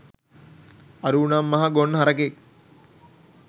අරූ නම් මහා ගොන් ගහක්